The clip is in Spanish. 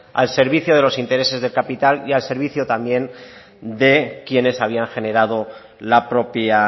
al servicio de los interés del capital y al servicio también de quienes habían generado la propia